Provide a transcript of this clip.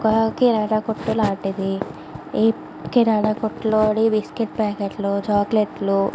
ఇది ఒక్క కిరాణా కొట్టు లాంటిది ఈ కిరాణా కొట్టు లో బిస్కెట్ ప్యాకెట్లు చాక్లెట్లు --